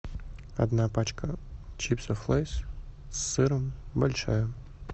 одна пачка чипсов лейс с сыром большая